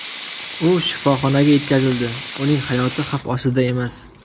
U shifoxonaga yetkazildi, uning hayoti xavf ostida emas.